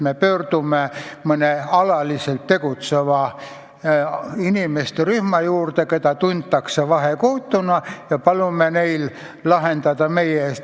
Me pöördume mõne alaliselt tegutseva inimeste rühma poole, keda tuntakse vahekohtuna, ja palume neil probleem meie eest lahendada.